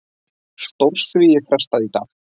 Stórsvigi frestað í dag